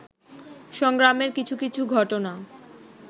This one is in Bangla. সংগ্রামের কিছু কিছু ঘটনা